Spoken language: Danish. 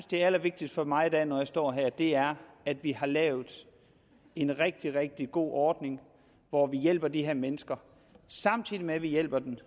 det allervigtigste for mig når jeg står her er at vi har lavet en rigtig rigtig god ordning hvor vi hjælper de her mennesker samtidig med at vi hjælper dem